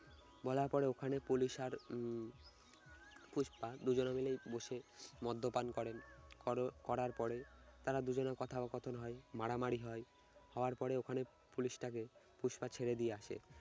বলার পরে ওখানে পুলিশ আর উম পুষ্পা দুজনে মিলেই বসে মদ্যপান করেন কর করার পরে তারা দুজনের কথা ও কথন হয় মারামারি হয় হওয়ার পরে ওখানে পুলিশটাকে পুষ্পা ছেড়ে দিয়ে আসে।